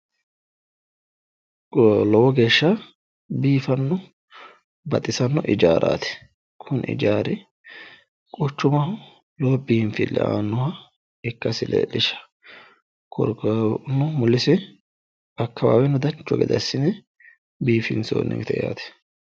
Lowo geeshsha biifanno baxisano ijaaraati. Kuni ijaari quchumaho lowo biinfille aannoha ikkasi leellishsha. Qole kaeno mulese akkawaaweno dancha gede assine biifinsoonnite yaate.